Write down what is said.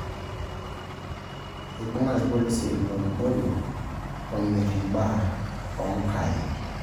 Eibung'a irpolisi ilo moruo omirr imbaa onkaai